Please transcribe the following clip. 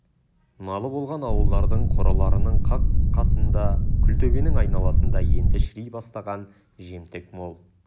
малы болған ауылдардың қораларының қақ қасында күлтөбенің айналасында енді шіри бастаған жемтік мол